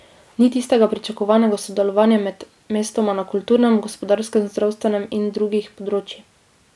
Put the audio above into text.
Ni tistega pričakovanega sodelovanja med mestoma na kulturnem, gospodarskem, zdravstvenem in drugih področjih.